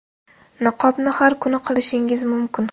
Niqobni har kuni qilishingiz mumkin.